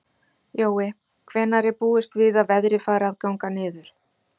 Jói, hvenær er búist við að veðrið fari að ganga niður?